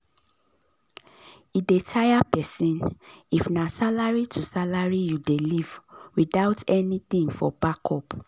e dey tire person if na salary to salary you dey live without anything for backup.